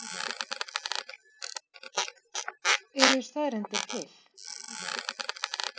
Eru staðreyndir til?